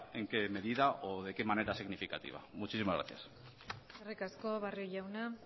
en qué medida o de qué manera significativa muchísimas gracias eskerrik asko barrio jauna